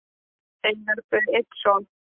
eiga þau einn son.